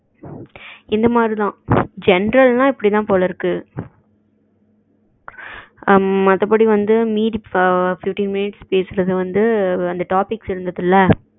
இந்த மரித்தான் general னா இப்டிதான் போல இருக்கு மத்தபடி வந்து மீதி fifteen minits பேசுனது வந்துட்டு அந்த topic இருந்ததுல